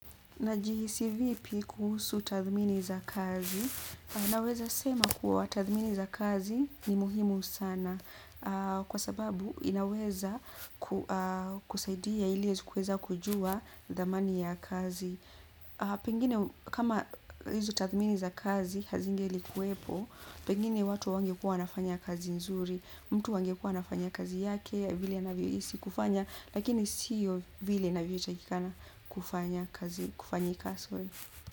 Najihisi vipi kuhusu tathmini za kazi, naweza sema kuwa tathmini za kazi ni muhimu sana, kwa sababu inaweza kusaidia ili kuweza kujua dhamani ya kazi. Pengine kama hizi tathmini za kazi hazingelikuepo pengine watu hawangekuwa wanafanya kazi nzuri, mtu angekuwa anafanya kazi yake vizuri vile anavyohisi kufanya lakini sio vile mtu inavyotakikana kufanya kazi, kufanyika sorry.